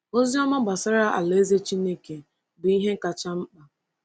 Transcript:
Ozi ọma gbasara Alaeze Chineke bụ ihe kacha mkpa.